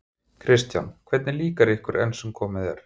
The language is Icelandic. Kristján: Hvernig líkar ykkur enn sem komið er?